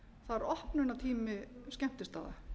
það er opnunartími skemmtistaða